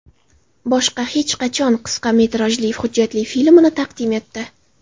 Boshqa hech qachon” qisqa metrajli hujjatli filmini taqdim etdi .